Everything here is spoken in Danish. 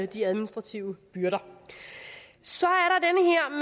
de administrative byrder så